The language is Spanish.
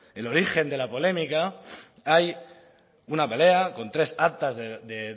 el origen de la polémica hay una pelea con tres actas de